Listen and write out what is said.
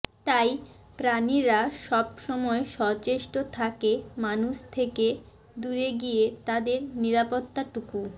তাই প্রাণীরা সব সময় সচেষ্ট থাকে মানুষ থেকে দূরে গিয়ে তাদের নিরাপত্তাটুকু